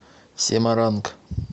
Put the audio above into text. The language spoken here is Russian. семаранг